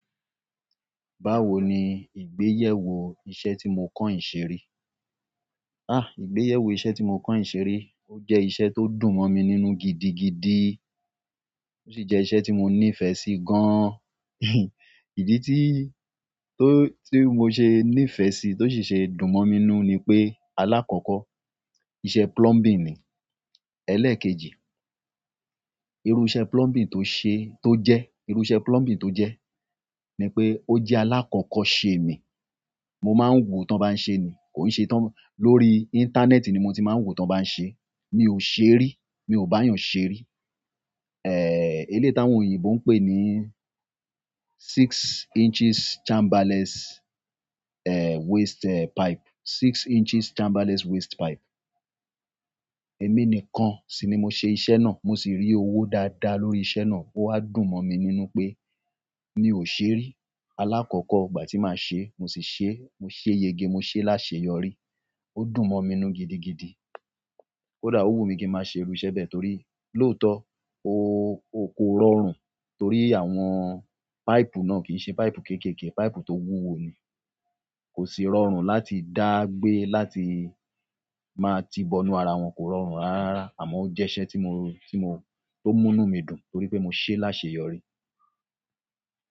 Báwo ni ìgbéyèwò iṣẹ́ tí mo kan yin ṣe ri? Ah, ìgbéyèwò iṣẹ́ tí mo kan yin se ri? O jẹ́ iṣẹ́ tó dùn mọ̀ mi nínú gidigidi, ó sì jẹ́ iṣẹ́ tí mo nífẹ̀ẹ́ sí gan-an. Ìdí tí, tó, tí mo ṣe nífẹ̀ẹ́ sí, tó sì ṣe dùn mọ̀ mi nínú ni pé alákọ̀ọ́kọ́ iṣẹ́ plumbing ni. Ẹlẹ́ẹ̀kejì, irú iṣẹ́ plumbing tó ṣe, tó jẹ́, irú iṣẹ́ plumbing tó jẹ́ ni pé ó jẹ́ alákọ̀ọ́kọ́ ṣe mi. Mo máa ń wò tán bá ń ṣe ni, kòo ṣe tán-- lórí íńtánẹ́ẹ̀tì ni mo ti máa ń wò tán bá ń ṣe. Mi ò ṣe ri, mi ò bá yan ṣe ri. È, eléyii táwọn òyìnbó ń pè ní six inches chamberless, e, waste, e, pipe, six inches chamberless waste pipe. Èmi nìkan sì ni mo ṣe iṣẹ́ náà, mo sì rí owó dáadáa lórí iṣẹ́ náà. Ó wá dùn mọ̀ mi nínú pé mi ò ṣe ri. Alákọ̀ọ́kọ́ ìgbà tí màá ṣe, mo sì ṣe, mo ṣe yege, mo ṣe láṣeyọrí. O dùn mo mi nínú gidi gidi kódà o wu mi kín máa ṣe irú iṣẹ́ bẹ́ẹ̀ torí lóòótọ́ ó, ó korọrùn torí àwọn páìpù náà kì ṣe páìpù kéékèèké, páìpù tó wúwo ni. Kò sì rọrùn láti dá gbé láti máa ti bo inú ara wọn, kò rọrùn rárá àmọ́ ó jẹ́ iṣẹ́ tí mo, tí mo, tó mú inú mi dùn torí pé mo ṣe láṣeyọrí.